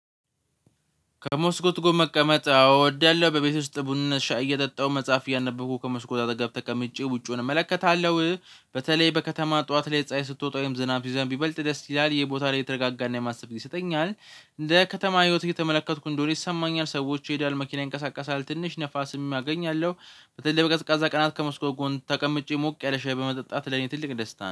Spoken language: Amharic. ከሞስኮት ጎን መቀመጥ እወዳለሁ በቤቴ ውስጥ ቡና ሻይ እየጠጣሁ መጽሐፍ እያነበብኩ ከመስኮት አጠገብ ተቀምጬ ውጪውን እመለከታለሁ። በተለይ በከተማ ጠዋት ላይ ፀሀይ ስትወጣ ወይም ዝናብ ሲዘንብ ይበልጥ ደስ ይላል ይሄ ቦታ ላይ የተረጋጋና የማሰብ ጊዜ ይሰጠኛል። እንደ ከተማ ህይወት እየተመለከትኩ እንደሆነ ይሰማኛል ሰዎች ይሄዳል መኪና ይንቀሳቀሳል ትንሽ ንፋስም አገኛለሁ። በተለይ በቀዝቃዛ ቀናት ከመስኮት ጎን ተቀምጬ ሞቅ ያለ ሻይ በመጠጣት ለኔ ትልቅ ደስታ ነው